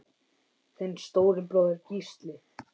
Þinn stóri bróðir, Gísli.